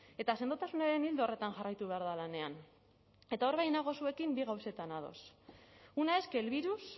eta sendotasunaren ildo horretan jarraitu behar da lanean eta hor bai nago zuekin bi gauzetan ados una es que el virus